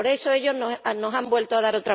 Y por eso, ellos nos han vuelto a dar